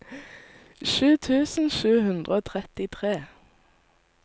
sju tusen sju hundre og trettitre